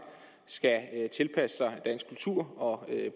skal tilpasse sig dansk kultur og